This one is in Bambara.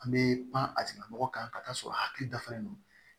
An bɛ pan a tigilamɔgɔ kan ka taa sɔrɔ hakili dafalen don